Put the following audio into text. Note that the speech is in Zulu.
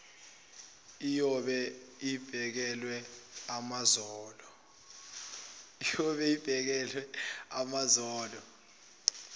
iyobe ibekelwe amazolo